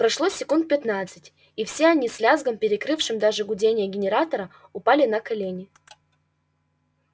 прошло секунд пятнадцать и все они с лязгом перекрывшим даже гудение генератора упали на колени